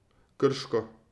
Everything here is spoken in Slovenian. Krško.